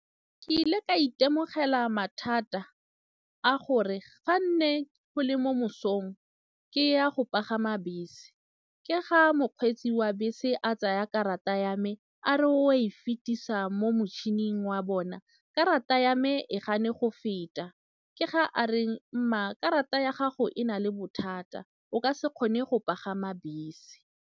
Ke ile ka itemogela mathata a gore ga nne go le mo mosong ke ya go pagama bese ke ga mokgweetsi wa bese a tsaya karata ya me a re o e fetisa mo motšhining wa bona karata ya me e gane go feta ke ga a reng, mma karata ya gago e na le bothata o ka se kgone go pagama bese.